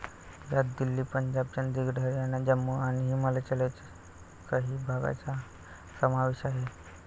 यात दिल्ली, पंजाब, चंदीगड, हरयाणा, जम्मू आणि हिमाचलच्या काही भागांचा समावेश आहे.